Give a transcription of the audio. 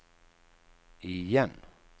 igen